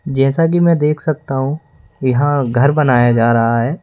जैसा कि मैं देख सकता हूं यहां घर बनाया जा रहा है।